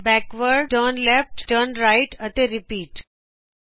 forward backward turn left turn right ਅਤੇ repeat